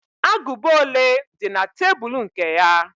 Agụba ole di na tebul nke ya?